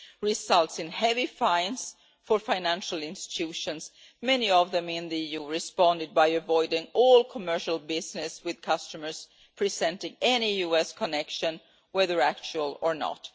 results in heavy fines for financial institutions, many of them in the EU have responded by avoiding all commercial business with customers presenting any US connection, whether actual or not.